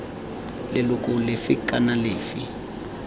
d leloko lefe kana lefe